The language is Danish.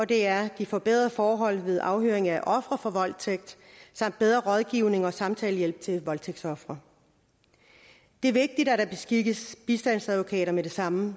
det er de forbedrede forhold ved afhøring af ofre for voldtægt samt bedre rådgivning og samtalehjælp til voldtægtsofre det er vigtigt at der beskikkes bistandsadvokater med det samme